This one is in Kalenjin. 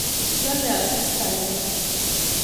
Lale asista nia